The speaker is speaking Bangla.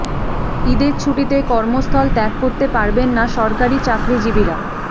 ঈদের ছুটিতে কর্মস্থল ত্যাগ করতে পারবেন না সরকারি চাকরিজীবীরা